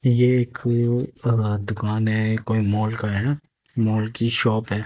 ये एक अह दुकान है एक कोई मॉल का है मॉल की शॉप है।